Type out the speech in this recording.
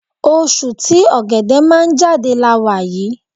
Oṣù tí Ọ̀gẹ̀dẹ̀ máa ń jáde la wà yí.